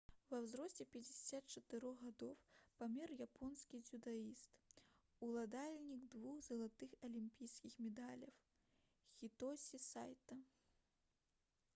ва ўзросце 54 гадоў памёр японскі дзюдаіст уладальнік двух залатых алімпійскіх медалёў хітосі сайта